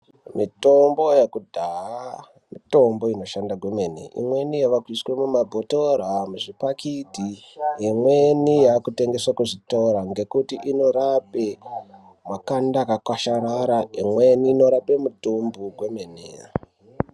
Mitombo yekudhaya mitombo inoshanda kwemene. Imweni yavakuiswa muma bhotora, muzvipakiti ,imweni yakutengeswa kuzvitora ngekuti inorape makanda akakwasharara, imweni inorape mitombo kwemene.